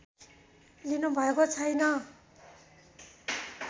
लिनुभएको छैन्